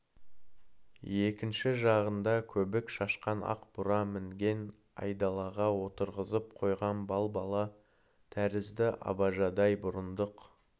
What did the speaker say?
екінші жағында көбік шашқан ақ бура мінген айдалаға отырғызып қойған балбала тәрізді абажадай бұрындық